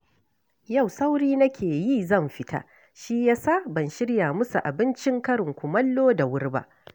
Yau sauri nake yi zan fita, shi ya sa ban shirya musu abincin karin kumallo da wuri ba